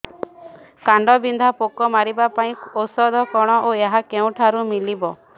କାଣ୍ଡବିନ୍ଧା ପୋକ ମାରିବା ପାଇଁ ଔଷଧ କଣ ଓ ଏହା କେଉଁଠାରୁ ମିଳିବ